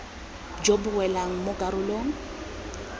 jo bo welang mo karolong